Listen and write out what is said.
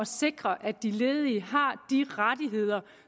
sikre at de ledige har de rettigheder